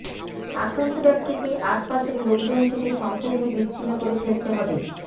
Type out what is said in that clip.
আক্রান্ত ব্যক্তিকে আশপাশের লোকজন থেকে সম্পূর্ণ বিচ্ছিন্ন করে ফেলতে হবে